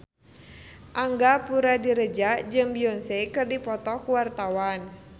Angga Puradiredja jeung Beyonce keur dipoto ku wartawan